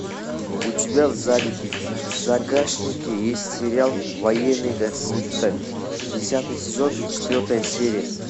у тебя в загашнике есть сериал военный госпиталь десятый сезон четвертая серия